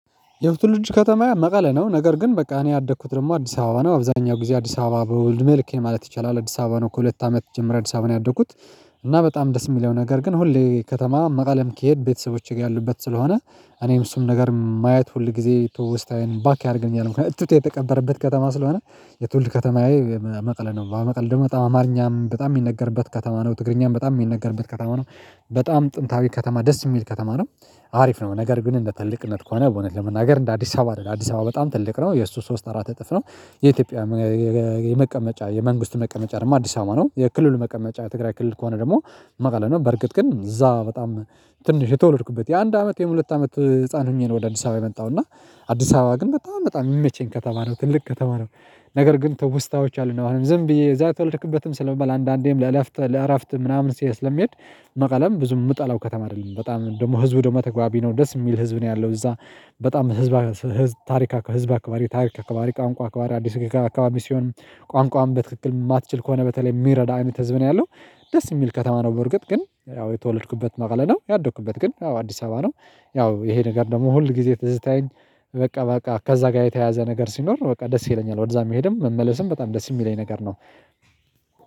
የትውልድ ከተማዬ መቀሌ ነው ነገር ግን በቃ እኔ ያደኩት ደግሞ አዲስ አበባ ነው አብዛኛው ጊዜ አዲስ አበባ ነው እድሜ ልኬ ማለት ይቻላል አዲስ አበባ ነው ከሁለት አመት ጀምሮ አዲስ አበባ ነው ያደጉት። እና በጣም ደስ የሚለው ነገር ግን ሁሌ ከተማ መቀሌም ከሄድኩ ቤተሰቦቼ ጋር ያሉበት ስለሆነ እኔም እሱም ነገር ማያት ሁል ጊዜ ትውስታዪን ባክ ያደርገኛል እትብቴ የተቀበረበት ከተማ ስለሆነ። የትውልድ ከተማዬ መቀለ ነው በመቀሌ ደግሞ በጣም አማርኛም በጣም የሚነገርበት ከተማ ነው ትግርኛም በጣም የሚነገርበት ከተማ ነው። በጣም ጥንታዊ ከተማ ደስ የሚል ከተማ ነው። አሪፍ ነው ነገር ግን እንደ ትልቅነት ከሆነ በእውነት ለመናገር እንደ አዲስ አበባ አይደለም አዲስ አበባ በጣም ትልቅ ነው የእሱ ሶስት አራት እጥፍ ነው። የኢትዮጵያ የመቀመጫ የመንግስት መቀመጫ ደግሞ አዲስ አማርኛ ነው የክልሉ መቀመጫ ትግራይ ክልል ከሆነ ደግሞ መቀለ ነው። በርግጥ ግን እዛ በጣም ትንሽ የተወለድኩበት የአንድ አመት የሁለት አመት ህፃን ሆኜ ነው። ወደ አዲስ አበባ የመጣው እና አዲስ አበባ ግን በጣም በጣም የሚመቸኝ ከተማ ነው ትልቅ ከተማ ነው። ነገር ግን ትውስታዎች አሉ ነው ዝም ብዬ እዛ ትወልድክበትም ስለመባል አንዳንዴም ለእረፍት ለእረፍት ምናምን ሲያይ ስለሚሄድ። መቀለም ብዙ የምጠላው ከተማ አይደለም በጣም ደግሞ ህዝቡ ደግሞ ተግባቢ ነው ደስ የሚል ህዝብ ነው ያለው እዛ። በጣም ህዝብ ታሪክ አካባቢ ታሪክ አካባቢ ቋንቋ አካባቢ አዲስ አካባቢ ሲሆን ቋንቋውን በትክክል የማትችል ከሆነ በተለይ የሚረዳ አይነት ህዝብ ነው ያለው። ደስ የሚል ከተማ ነው በርግጥ ግን ያው የተወለድኩበት መቀለ ነው ያደኩበት ግን ያው አዲስ አበባ ነው። ያው ይሄ ነገር ደግሞ ሁል ጊዜ ተዝታዬን በቃ በቃ ከዛ ጋር የተያዘ ነገር ሲኖር በቃ ደስ ይለኛል እዛ መሄድም መመለስም በጣም ደስ የሚለኝ ነገር ነው።